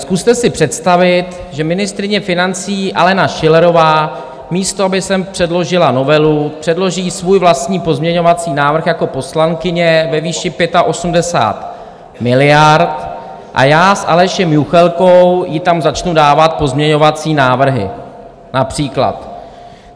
Zkuste si představit, že ministryně financí Alena Schillerová, místo aby sem předložila novelu, předloží svůj vlastní pozměňovací návrh jako poslankyně ve výši 85 miliard, a já s Alešem Juchelkou jí tam začnu dávat pozměňovací návrhy, například.